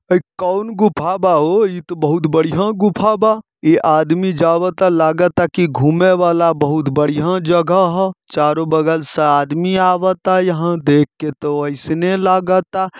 इ कौन गुफा बा हो इ त बहुत बढ़िया गुफा बा। ए आदमी जावता लगता के घूमे वाला बहुत बढ़िया जगह हौ। चारों बगल से आदमी आवता यहाँ देखके तो ऐसने लागता।